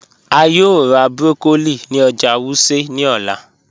A yòò rá broccoli ní ọ̀jà Wuse ní òlà.